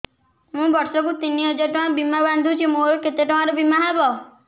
ମୁ ବର୍ଷ କୁ ତିନି ହଜାର ଟଙ୍କା ବୀମା ବାନ୍ଧୁଛି ମୋର କେତେ ଟଙ୍କାର ବୀମା ହବ